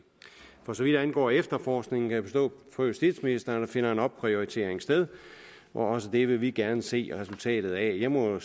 for så vidt angår efterforskning kan jeg forstå på justitsministeren at der finder en opprioritering sted også det vil vi gerne se resultatet af jeg må